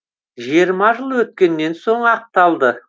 жиырма жыл өткеннен соң ақталды